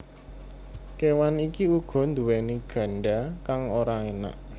Kéwan iki uga nduwèni ganda kang ora enak